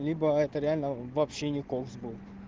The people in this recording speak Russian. либо это реально вообще николс был